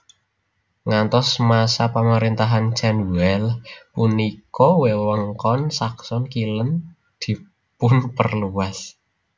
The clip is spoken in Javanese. Ngantos masa pemerintahan Cenwealh punika wewengkon Saxon Kilen dipunperluas